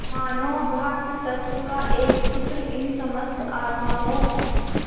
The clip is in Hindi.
मानों भ्रातृत्व का एक सूत्र इन समस्त आत्माओं